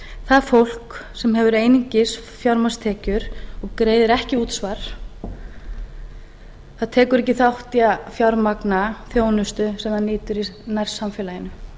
það fólk sem hefur einungis fjármagnstekjur og greiðir ekki útsvar það tekur ekki þátt í að fjármagna þjónustu sem það nýtur í nærsamfélaginu